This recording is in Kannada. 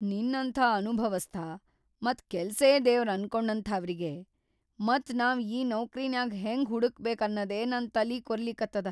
ನಿನ್ನಂಥಾ ಅನುಭವಸ್ಥ ಮತ್‌ ಕೆಲ್ಸೇ ದೇವ್ರ್‌ ಅನ್ಕೊಂಡಥಾವ್ರಿಗಿ ಮತ್‌ ನಾವ್‌ ಈ ನೌಕ್ರಿನ್ಯಾಗ್ ಹೆಂಗ ಹುಡಕ್ಬೇಕ್‌ ಅನ್ನದೇ ನನ್‌ ತಲಿ ಕೊರಿಲಿಕತ್ತದ.